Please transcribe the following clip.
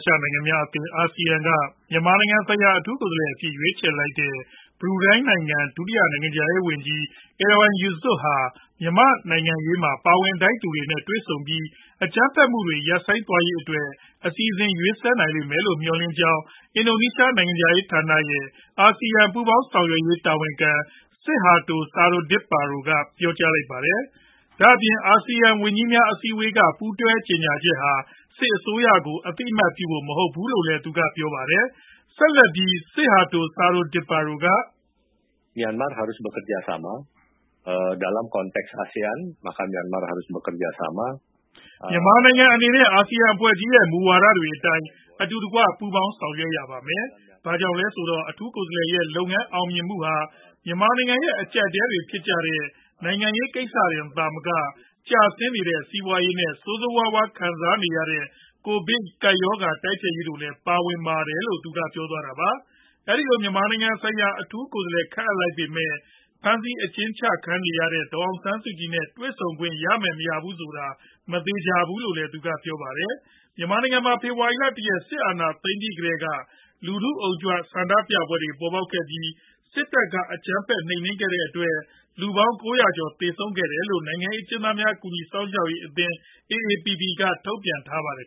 ရှနိုင်ငံများအသင်း ASEAN က မြန်မာနိုင်ငံနိုင်ငံဆိုင်ရာ အထူးကိုယ်စားလှယ်အဖြင့် ရွေးချယ်လိုက်တဲ့ ဘရူနိုင်းနိုင်ငံ ဒုတိယနိုင်ငံခြားရေးဝန်ကြီး Erywan Yusof ဟာ မြန်မာနိုင်ငံရေးမှာ ပါဝင်ထိုက်သူတွေနဲ့ တွေ့ဆုံပြီး အကြမ်းဖက်မှုတွေ ရပ်ဆိုင်းသွားရေးအတွက် အစီအစဉ် ရေးဆွဲနိုင်လိမ့်မယ်လို့ မျှော်လင့်ကြောင်း ၊ အင်ဒိုနီးရှားနိုင်ငံခြား ရေးဝန်ကြီးဌာနရဲ့ အာဆီယံပူးပေါင်းဆောင်ရွက်ရေးတာဝန်ခံ Sidharto Suryodipuro က ပြောပါတယ်။ ဒါအပြင် အာဆီယံဝန်ကြီးများအစည်းအဝေးက ပူးတွဲကြေညာချက်ဟာ စစ်အစိုးရကို အသိအမှတ်ပြုဖို့ မဟုတ်ဘူးလို့ လည်း သူက ပြောပါတယ်။ ဆက်လက်ပြီး Sidharto Suryodipuro က “ မြန်မာနိုင်ငံအနေနဲ့ အာဆီယံအဖွဲ့ကြီး ရဲ့ မူဝါဒတွေ အတိုင်း အတူတကွပူးပေါင်းဆောင်ရွက်ရမယ်။ ဘာကြောင့်လည်းဆိုတော့ အထူးကိုယ်စားလှယ်ရဲ့ လုပ်ငန်းအောင်မြင်မှုဟာ မြန်မာနိုင်ငံရဲ့ အကြပ်အတည်းတွေဖြစ်ကြ တဲ့ နိုင်ငံရေးကိစ္စတင် သာမက ကျဆင်းနေတဲ့ စီးပွားရေး နဲ့ ဆိုးဆိုးဝါးဝါးခံစားနေရတဲ့ ကိုဗစ်ရောဂါတိုက်ဖျက်ရေးတို့လည်း ပါဝင်ပါတယ်” လို့ပြောသွားပါတယ်။ အဲဒီလို မြန်မာနိုင်ငံဆိုင်ရာ အထူးကိုယ်စားလှယ်ခန့်အပ်လိုက်ပေမယ့် ဖမ်းဆီးခံနေရတဲ့ ဒေါ်အောင်ဆန်းစုကြည် နဲ့ တွေ့ဆုံခွင့်ရမယ် မရဘူးဆိုတာ မသေချာဘူးလို့လည်း သူက ပြောပါတယ်။ မြန်မာနိုင်ငံမှာ ဖေဖော်ဝါရီလ ၁ ရက် စစ်အာဏာသိမ်းပြီးကတည်းက လူထု့အုံကြွဆန္ဒပြပွဲတွေပေါ်ပေါက်လာခဲ့ပြီး စစ်တပ်က အကြမ်းဖက်နိုမ်နင်းခဲ့တဲ့အတွက် လူပေါင်း ၉၀၀ ကျော် သေဆုံးခဲ့ရတယ်လို့ နိုင်ငံရေးအကျဉ်းသားများ ကူညီစောင့်ရှောက်ရေးအသင်း AAPP က ထုတ်ပြန်ထားပါတယ်